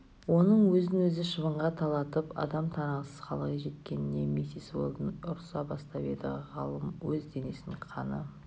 оның өзін өзі шыбынға талатып адам танығысыз халге жеткеніне миссис уэлдон ұрса бастап еді ғалым өз денесін қаны